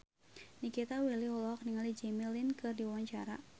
Nikita Willy olohok ningali Jimmy Lin keur diwawancara